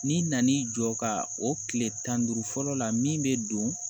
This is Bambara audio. N'i nan'i jɔ ka o tile tan ni duuru fɔlɔ la min bɛ don